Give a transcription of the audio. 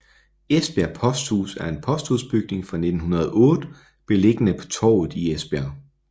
Esbjerg Posthus er en posthusbygning fra 1908 beliggende på Torvet i Esbjerg